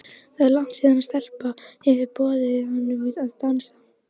Það er langt síðan stelpa hefur boðið honum að dansa.